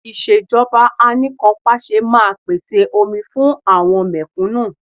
Ìṣèjọba Anìkanpàṣẹ máa pèsè omi fún àwọn mẹ̀kúnnù